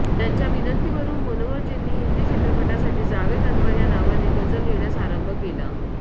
त्यांच्या विनंतीवरून मनोहरजींनी हिंदी चित्रपटांसाठी जावेद अन्वर या नावाने गजल लिहिण्यास आरंभ कला